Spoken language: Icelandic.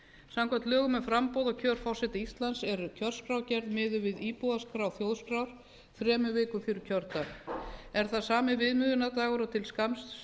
samkvæmt lögum um framboð og kjör forseta íslands er kjörskrárgerð miðuð við íbúaskrá þjóðskrár þremur vikum fyrir kjördag er það sami viðmiðunardagur og til skamms